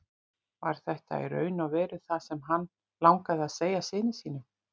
Var þetta í raun og veru það sem hann langaði að segja syni sínum?